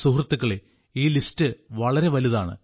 സുഹൃത്തുക്കളേ ഈ ലിസ്റ്റ് വളരെ വലുതാണ്